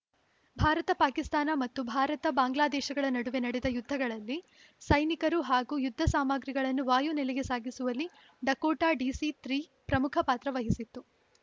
ಭಾರತಪಾಕಿಸ್ತಾನ ಮತ್ತು ಭಾರತ ಬಾಂಗ್ಲಾ ದೇಶಗಳ ನಡುವೆ ನಡೆದ ಯುದ್ಧಗಳಲ್ಲಿ ಸೈನಿಕರು ಹಾಗೂ ಯುದ್ಧ ಸಾಮಾಗ್ರಿಗಳನ್ನು ವಾಯು ನೆಲೆಗೆ ಸಾಗಿಸುವಲ್ಲಿ ಡಕೋಟಾ ಡಿಸಿ ತ್ರೀ ಪ್ರಮುಖ ಪಾತ್ರ ವಹಿಸಿತ್ತು